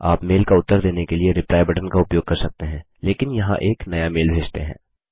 आप मेल का उत्तर देने के लिए रिप्लाई बटन का उपयोग कर सकते हैं लेकिन यहाँ एक नया मेल भेजते हैं